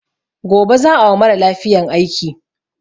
Gobe za a wa mara lafiyan aiki.